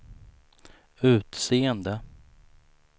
utseende